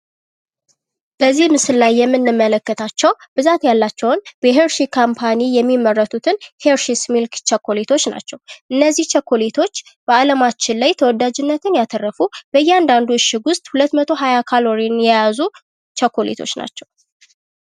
በዚህ ምስል የምንመለከታቸው ብዛት ያላቸውን በ ሄርሺ ካምፓኒ የሚመረቱትን ሄርሺስ ሚልክ ቸኮሌቶች ናቸው። እነዚህ ቸኮሌቶች በአለማችን ላይ ተወዳጅነትን ያተረፉ በእያንዳንዱ እሽግ ውስጥ 220 ካሎሪን የያዙ ቸኮሌቶች ናቸው።